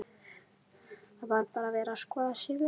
Það er bara verið að skoða sig um?